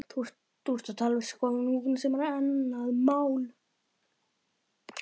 Þú ert að tala um skoðanakúgun sem er annað mál.